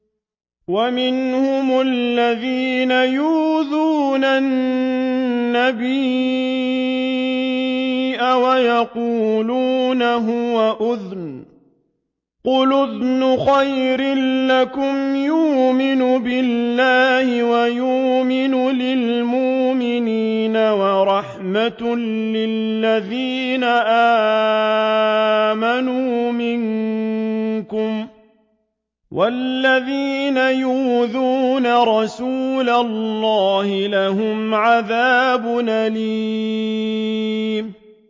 وَمِنْهُمُ الَّذِينَ يُؤْذُونَ النَّبِيَّ وَيَقُولُونَ هُوَ أُذُنٌ ۚ قُلْ أُذُنُ خَيْرٍ لَّكُمْ يُؤْمِنُ بِاللَّهِ وَيُؤْمِنُ لِلْمُؤْمِنِينَ وَرَحْمَةٌ لِّلَّذِينَ آمَنُوا مِنكُمْ ۚ وَالَّذِينَ يُؤْذُونَ رَسُولَ اللَّهِ لَهُمْ عَذَابٌ أَلِيمٌ